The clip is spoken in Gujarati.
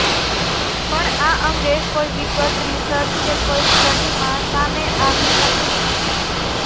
પણ આ અંગે કોઈ વિગત રિસર્ચ કે કોઈ સ્ટડીમાં સામે આવી નથી